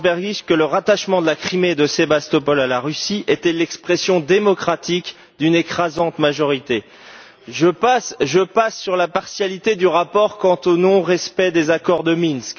Landsbergis que le rattachement de la Crimée et de Sébastopol à la Russie était l'expression démocratique d'une écrasante majorité. Je passe sur la partialité du rapport quant au non respect des accords de Minsk.